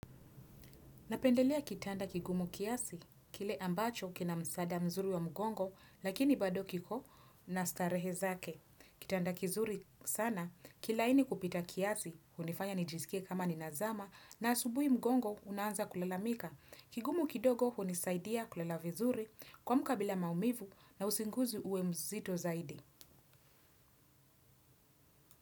Napendelea kitanda kigumu kiasi, kile ambacho kina msaada mzuri wa mgongo, lakini bado kiko na starehe zake. Kitanda kizuri sana, kilaini kupita kiasi, hunifanya nijisikie kama ninazama, na asubuhi mgongo, unaanza kulalamika. Kigumu kidogo hunisaidia kulala vizuri kuamka bila maumivu na usingizi uwe mzito kabisa.